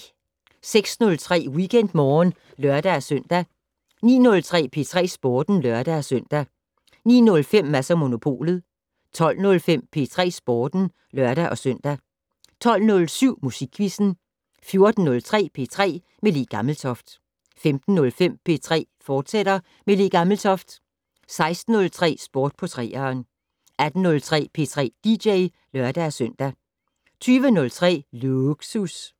06:03: WeekendMorgen (lør-søn) 09:03: P3 Sporten (lør-søn) 09:05: Mads & Monopolet 12:05: P3 Sporten (lør-søn) 12:07: Musikquizzen 14:03: P3 med Le Gammeltoft 15:05: P3 med Le Gammeltoft, fortsat 16:03: Sport på 3'eren 18:03: P3 dj (lør-søn) 20:03: Lågsus